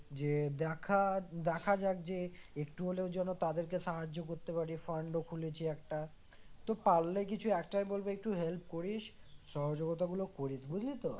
যে দেখা দেখা যাক যে একটু হলেও যেন তাদেরকে সাহায্য করতে পারি fund ও খুলেছি একটা তো পারলে কিছু একটাই বলবো একটু help করিস সহযোগিতা গুলো করিস বুঝলি তো?